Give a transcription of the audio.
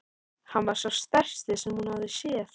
Hann var sá stærsti sem hún hafði séð.